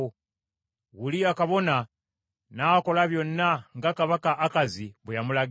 Uliya kabona n’akola byonna, nga kabaka Akazi bwe yamulagira.